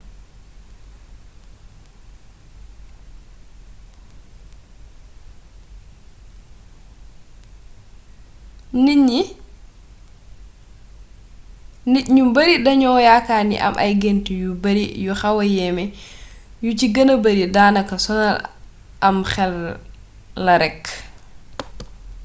nit ñu bari dañu yaakaar ni am ay gént yu bari yu xawa yéeme yu ci gëna bari daanaka sonal am xel la rek